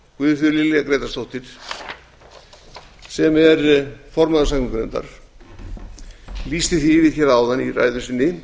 guðfríður lilja grétarsdóttir sem er formaður umhverfis og samgöngunefndar lýsti því yfir áðan í ræðu sinni